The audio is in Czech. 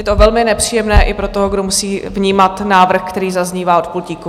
Je to velmi nepříjemné i pro toho, kdo musí vnímat návrh, který zaznívá od pultíku.